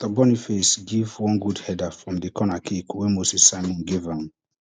victor boniface give one good header from di corner kick wey moses simon give am